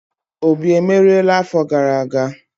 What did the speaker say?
Obi emeriela afo gara aga?